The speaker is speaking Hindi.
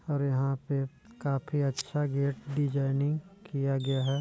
और यहाँ पे काफी अच्छा गेट डिजाइनिंग किया गया है।